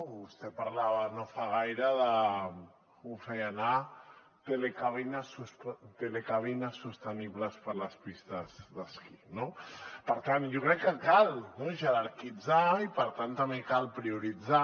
vostè parlava no fa gaire de com ho feia anar telecabines sostenibles per a les pistes d’esquí no per tant jo crec que cal jerarquitzar i per tant també cal prioritzar